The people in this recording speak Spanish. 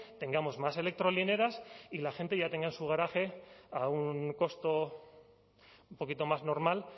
tengamos más electrolineras y la gente ya tenga en su garaje a un costo un poquito más normal